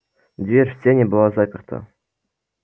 дверь в сени была заперта